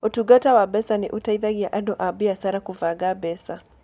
Ũtungata wa mbeca nĩ ũteithagia andũ na biacara kũbanga mbeca.